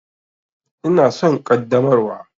Ina son ƙaddamarwa.